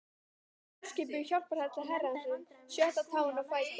Hann var sjálfskipuð hjálparhella Herrans, sjötta táin á fæti